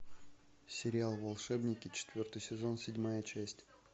сериал волшебники четвертый сезон седьмая часть